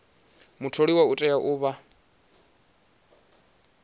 mutholiwa u tea u vha